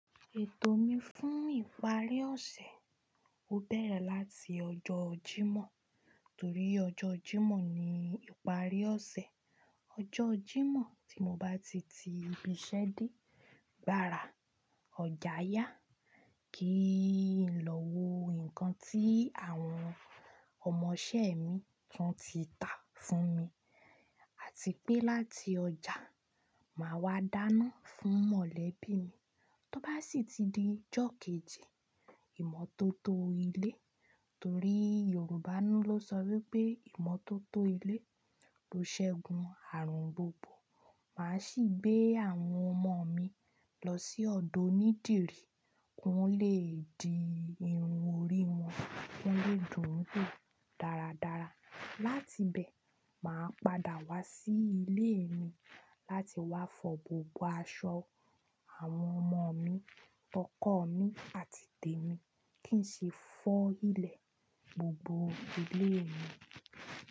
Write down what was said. Ètò mi fún ìparí ọ̀sẹ̀ ó bẹ̀rẹ̀ láti ọjọ́ Jímọ̀ torí ọjọ́ Jímọ̀ ni ìparí ọ̀sẹ̀. Ọjọ́ Jímọ̀ tí mo bá ti ti ibiṣẹ́ dé, gbára, ọjà yá, kí n lọ wo nǹkan tí àwọn ọmọṣẹ́ mi tún ti ta fún mi àti pé láti ọjà, màá wá dáná fún mọ̀lẹ́bí mi. Tó bá sì ti di ọjọ́ kejì, ìmọ́tótó ilé torí Yorùbá ló sọ wípé ìmọ́tótó ilé ló ṣẹ́gun àrùn gbogbo. Màá sì gbé àwọn ọmọ mi lọ sí ọ̀dọ̀ onídìrí ki won ó le di irun orí wọn, kán lè dùn ún gù dáradára. Láti bẹ̀, màá padà wá sí ilé mi láti wá fọ gbogbo aṣọ àwọn ọmọ mi, tọkọ mi àti tèmi kí n sì fọ́ ilẹ̀ gbogbo ilé mi.